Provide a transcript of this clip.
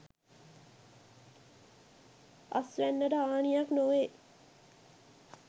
අස්වැන්නට හානියක් නොවේ.